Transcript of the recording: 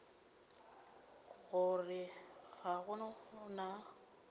go re ga go na